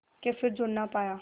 के फिर जुड़ ना पाया